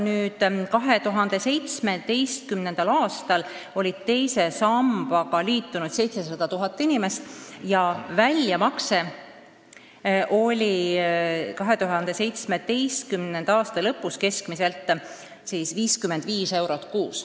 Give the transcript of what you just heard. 2017. aastal oli teise sambaga liitunud 700 000 inimest ja väljamakse oli 2017. aasta lõpus keskmiselt 55 eurot kuus.